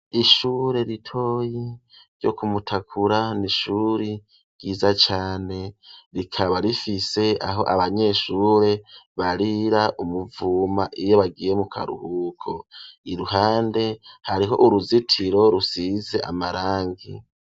Ishure ritoyi ryo Kumutakura n'ishuri ryiza cane, rikaba rifise aho abanyeshure barira umuvuma iyo bagiye mu karuhuko ,iruhande hariho uruzitiro rusize amarangi.